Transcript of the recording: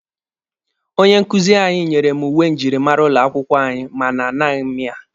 Onye nkuzi anyị nyere m uwe njirimara ụlọ akwụkwọ anyị mana a naghị m ya.